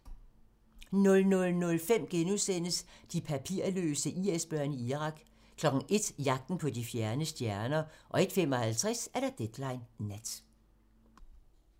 00:05: De papirløse IS-børn i Irak * 01:00: Jagten på de fjerne stjerner 01:55: Deadline Nat